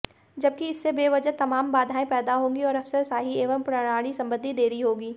जबकि इससे बेवजह तमाम बाधाएं पैदा होंगी और अफसरशाही एवं प्रणाली संबंधी देरी होगी